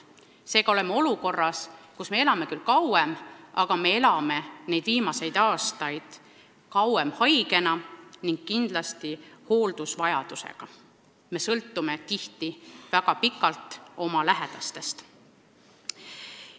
Seega oleme olukorras, kus me elame küll kauem, aga me elame kauem haigena ning kindlasti on meil hooldusvajadus, me sõltume tihti väga pikalt oma lähedastest.